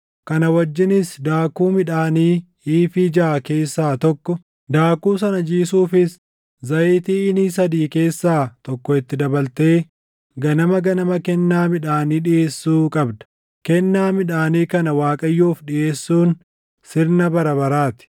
Kana wajjinis daakuu midhaanii iifii jaʼa keessaa tokko, daakuu sana jiisuufis zayitii iinii sadii keessaa tokko itti dabaltee ganama ganama kennaa midhaanii dhiʼeessuu qabda; kennaa midhaanii kana Waaqayyoof dhiʼeessuun sirna baraa baraa ti.